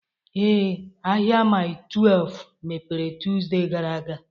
Ee, ahịa Mile 12 mepere Tọzdee gara aga